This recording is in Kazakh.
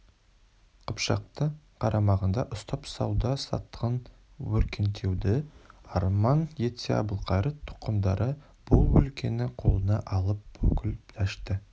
қыпшақты қарамағында ұстап сауда-саттығын өркендетуді арман етсе әбілқайыр тұқымдары бұл өлкені қолына алып бүкіл дәшті